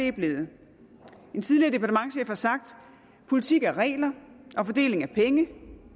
er blevet en tidligere departementschef har sagt politik er regler og fordeling af penge